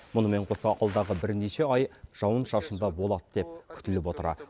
мұнымен қоса алдағы бірнеше ай жауын шашынды болады деп күтіліп отыр